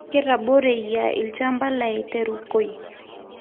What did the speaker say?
Ketoboreyia lshamba lai terukoi